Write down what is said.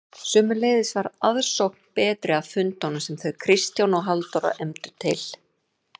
Sömuleiðis var aðsókn betri að fundum sem þau Kristján og Halldóra efndu til.